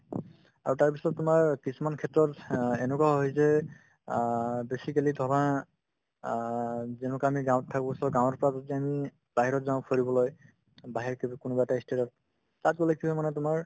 আৰু তাৰপিছত তোমাৰ কিছুমান ক্ষেত্ৰত অ এনেকুৱা হয় যে অ basically অ যেনেকুৱা আমি গাঁৱত থাকো so গাঁৱৰ যেন বাহিৰত যাওঁ ফুৰিবলৈ বাহিৰত কি বুলি কোনোবা এটা ই state ত তাত গ'লে কি হয় মানে তোমাৰ